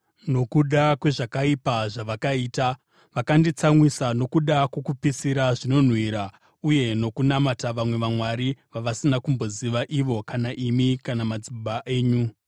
nokuda kwezvakaipa zvavakaita. Vakanditsamwisa nokuda kwokupisira zvinonhuhwira uye nokunamata vamwe vamwari vavasina kumboziva ivo kana imi kana madzibaba enyu.